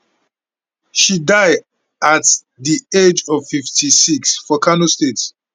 she die at di age of 56 for kano state